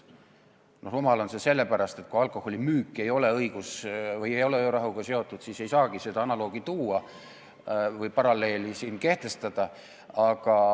Rumal on see seepärast, et kui alkoholimüük ei ole öörahuga seotud, siis ei saagi siin seda analoogi tuua või paralleeli kehtestada.